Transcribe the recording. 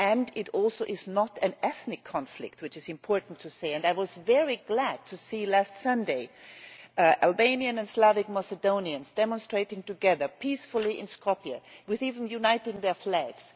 It is also not an ethnic conflict, which is important to say, and I was very glad to see last Sunday Albanian and Slavic Macedonians demonstrating together peacefully in Skopje, even uniting their flags.